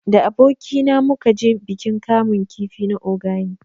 Da aboki na mu ka je bikin kamun kifi na Ogani